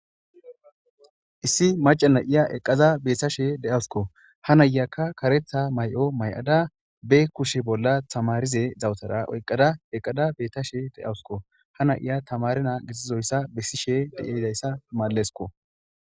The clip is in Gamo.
issi maca na7iya eqqada beettashe de7awsuko ha nayyakka karetha may7o may7ada be kushe bolla tamarize zawutara oyqqada eqqada beettashe de7awusko ha na7iya tamarinaa gitizoyssa bessishe dizayssa malesko